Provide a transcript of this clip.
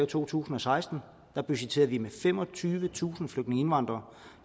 to tusind og seksten budgetterede vi med femogtyvetusind flygtningeindvandrere